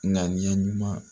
Ŋaniya ɲuman